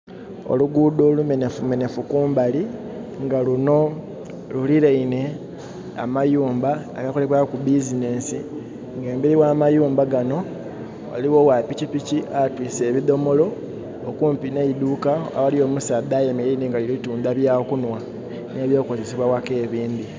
Oluguudo olumenefumenefu kumbali, nga luno luliraine amayumba agakolebwaku business. Nga emberi gh'amayumba gano ghaligho ogha pikipiki atiise ebidhomolo, okumpi n'eiduka aghali omusaadha ayemeleire nga ali kutunda eby'okunhwa, n'ebyokozesa ghaka ebindi.